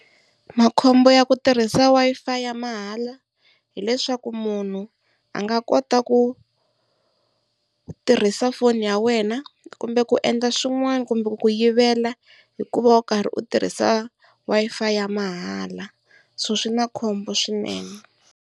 Makhombo ya ku tirhisa Wi-Fi ya mahala, hileswaku munhu a nga kota ku tirhisa foni ya wena kumbe ku endla swin'wana kumbe ku ku yivela hikuva u karhi u tirhisa Wi-Fi ya mahala, so swi na khombo swinene.